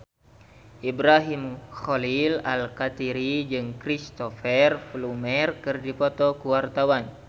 Ibrahim Khalil Alkatiri jeung Cristhoper Plumer keur dipoto ku wartawan